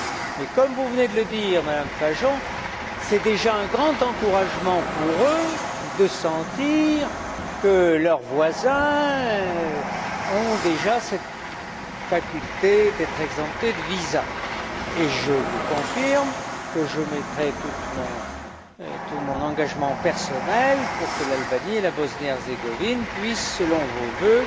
Mais, comme vous venez de le dire, Madame Fajon, c'est déjà un grand encouragement pour eux de sentir que leurs voisins ont déjà cette faculté d'être exemptés de visas et je vous confirme que je mettrai tout mon engagement personnel pour que l'Albanie et la Bosnie et Herzégovine puissent, selon vos vœux,